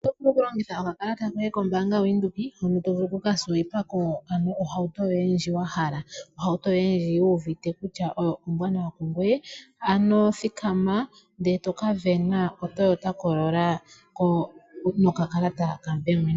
Oto vulu okulongitha okakalata koye koBank Windhoek hono tovulu okukaSwipe ohauto yoye ndjoka wahala, ohauto yoye ndji wuuvite kutya oyo oombwanawa kungoye . Ano thikama wuka sindane oToyota Corrola nokakalata koye kaBank Windhoek.